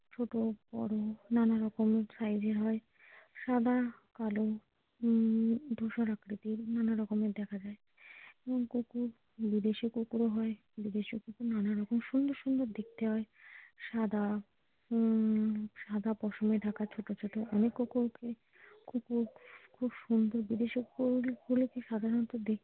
বিদেশি কুকুরও হয় বিদেশি কুকুর নানারকম সুন্দর সুন্দর দেখতে হয় সাদা উম সাদা পশমে ঢাকা ছোটো ছোটো অনেক কুকুর কুকুর সুন্দর বিদেশি কুকুরগুলো সাধারণত দেখতে।